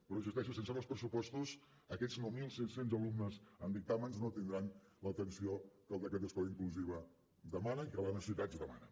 però hi insisteixo sense nous pressupostos aquests nou mil cinc cents alumnes amb dictàmens no tindran l’atenció que el decret d’escola inclusiva demana i que les necessitats demanen